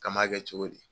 K'an m'a kɛ cogo di